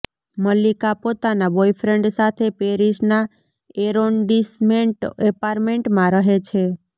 મલ્લિકા પોતાનાં બોયફ્રેન્ડ સાથે પેરિસના એરોન્ડિસમેન્ટ એપાર્ટમેન્ટમાં રહે છે